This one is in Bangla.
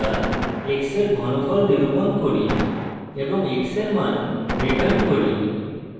এখানে আমরা x in ঘনফল নিরূপণ cube এবং x in মান return cube